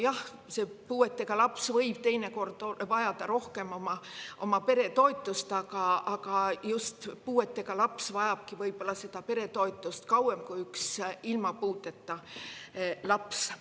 Jah, puudega laps võib teinekord vajada rohkem pere toetust, just puudega laps vajabki võib-olla pere toetust kauem kui ilma puudeta laps.